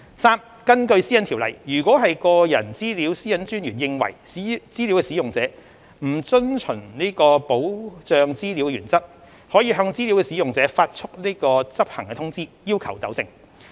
三根據《私隱條例》，如個人資料私隱專員認為資料使用者不遵循保障資料原則，可向資料使用者發出執行通知，要求糾正。